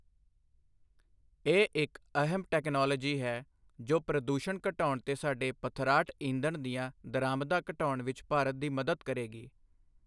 ਇਹ ਇੱਕ ਅਹਿਮ ਟੈਕਨੋਲੋਜੀ ਹੈ ਜੋ ਪ੍ਰਦੂਸ਼ਣ ਘਟਾਉਣ ਤੇ ਸਾਡੇ ਪਥਰਾਟ ਈਂਧਣ ਦੀਆਂ ਦਰਾਮਦਾਂ ਘਟਾਉਣ ਵਿੱਚ ਭਾਰਤ ਦੀ ਮਦਦ ਕਰੇਗੀ।